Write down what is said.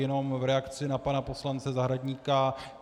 Jenom v reakci na pana poslance Zahradníka.